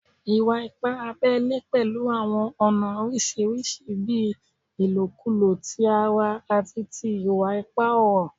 Iwa-ipa abẹle pẹlu awọn ọna oriṣiriṣi bii ilokulo ti ara ati iwa-ipa ọrọ